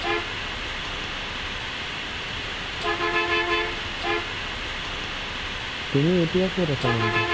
তুমি এতিয়া ক'ত আছা মানুহটো ?